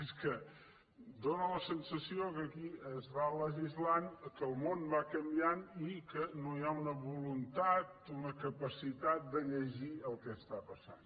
és que dóna la sensació que aquí es va legislant que el món va canviant i que no hi ha una voluntat una ca·pacitat de llegir el que està passant